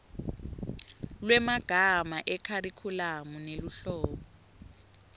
lwemagama ekharikhulamu neluhlolo